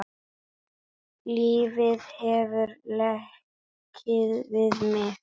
Lífið hefur leikið við mig.